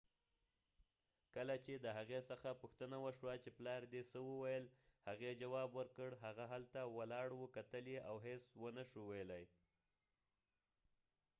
کله چې د هغې څخه پوښتنه وشوه چې پلار دي څه وويل ، هغې جواب ورکړ : هغه هلته ولاړ و کتل یې او هیڅ و نه شو ويلای